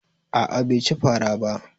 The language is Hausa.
A'a bai ci fara ba